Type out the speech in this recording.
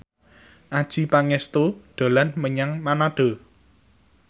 Adjie Pangestu dolan menyang Manado